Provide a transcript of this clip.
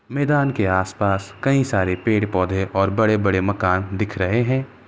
मैदान के आसपास कई सारे पेड़ पोधे और बड़े बड़े माकन दिख रहे है।